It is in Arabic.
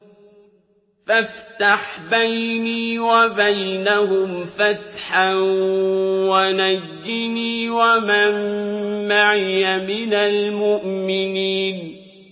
فَافْتَحْ بَيْنِي وَبَيْنَهُمْ فَتْحًا وَنَجِّنِي وَمَن مَّعِيَ مِنَ الْمُؤْمِنِينَ